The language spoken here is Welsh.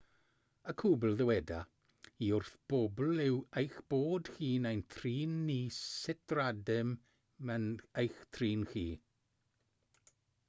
y cwbl ddyweda i wrth bobl yw eich bod chi'n ein trin ni sut rydym yn eich trin chi